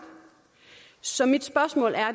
så mit spørgsmål er